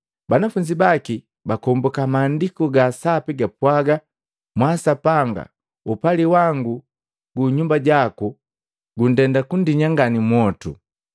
Banafunzi baki bakombuka Maandiku ga Sapi gapwaga, “Mwaa Sapanga upali wangu gu nyumba jaku guindenda kundinyi ngati mwotu.”